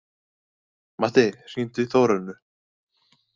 Matti, hringdu í Þórönnu.